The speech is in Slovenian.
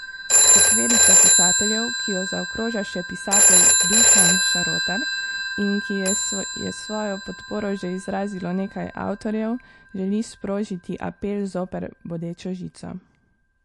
Četverica pisateljev, ki jo zaokroža še pisatelj Dušan Šarotar in ki ji je svojo podporo že izrazilo nekaj avtorjev, želi sprožiti apel zoper bodečo žico.